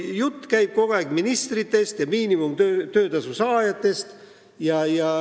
Jutt käib kogu aeg ministritest ja miinimumtöötasu saajatest.